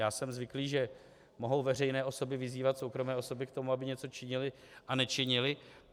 Já jsem zvyklý, že mohou veřejné osoby vyzývat soukromé osoby k tomu, aby něco činily a nečinily.